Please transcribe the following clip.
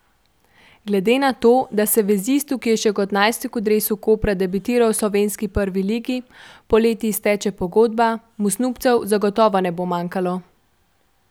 Glede na to, da se vezistu, ki je še kot najstnik v dresu Kopra debitiral v slovenski prvi ligi, poleti izteče pogodba, mu snubcev zagotovo ne bo manjkalo.